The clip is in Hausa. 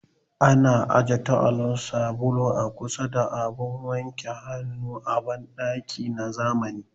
Ana aje taawul, sabulu a kusa da abun wanke hannu a banɗaki na zamani